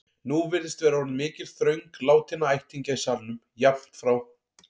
Nú virðist vera orðin mikil þröng látinna ættingja í salnum, jafnt frá